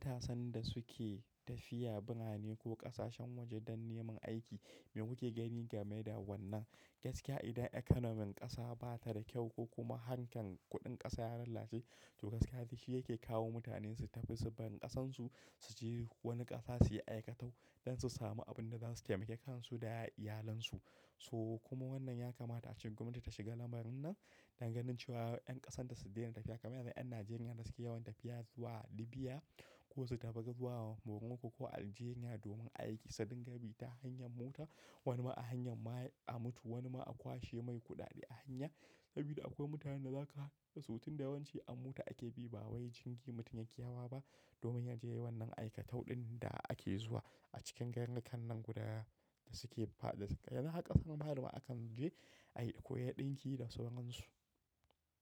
Mutanen da suke tafiya birane ko ƙasashen waje don neman aiki me kuke gani game da wannan? Gaskiya idan economy ƙasa bata da kyau ko kuma harkan kuɗin ƙasa ya lalace, to gaskiya shi yake kawo mutane su tafi su bar ƙasansu su je wani ƙasa suyi aikatau don su samu abin da zasu taimaki kansu da iyalansu. So kuma wannan yakamata a ce gwamnati ta shiga lamarin nan dangane da cewa 'yan ƙasan ta su daina tafiya kamar yanzu 'yan Najeriya da suke yawan tafiya zuwa Libya ko su tafi zuwa Morocco ko Algeria domin aiki sadin gabi ta hanyar mota. Wani ma a hanyar ma a mutu, wani ma a kwashe mai kuɗaɗe a hanya. Saboda akwai mutanen da za kaga su tunda yawanci a mota ake bi ba wai jingi mutum yaƙi hawa ba domin ya je wannan aikatau ɗin da ake zuwa a cikin garurrukan nan guda da suke faɗi. Yana haka sama har ma akan je a yi ƙoyarɗinki da sauransu.